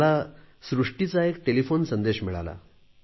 मला सृष्टीचा एक टेलिफोन संदेश मिळाला